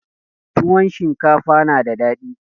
Tuwon shinkafa na da dadi.